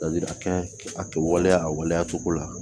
Ladilikan kɛ a kɛ waleya a waleya cogo la